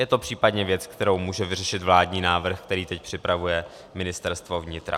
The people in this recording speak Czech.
Je to případně věc, kterou může vyřešit vládní návrh, který teď připravuje Ministerstvo vnitra.